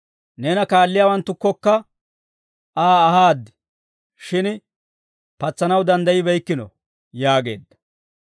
Neena kaalliyaawanttukkokka Aa ahaad; shin patsanaw danddayibeykkino» yaageedda.